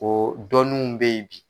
O dɔnninw bɛ ye bi.